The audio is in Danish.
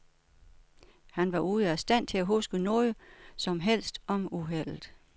Han var ude af stand til at huske noget som helst om uheldet.